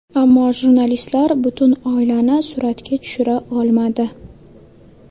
Ammo jurnalistlar butun oilani suratga tushira olmadi.